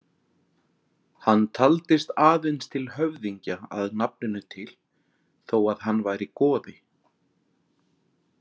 Hann taldist aðeins til höfðingja að nafninu til þó að hann væri goði.